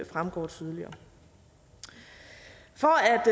fremgår tydeligere for